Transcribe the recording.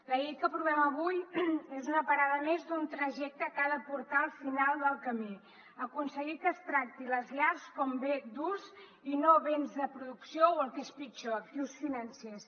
la llei que aprovem avui és una parada més d’un trajecte que ha de portar al final del camí aconseguir que es tractin les llars com béns d’ús i no béns de producció o el que és pitjor actius financers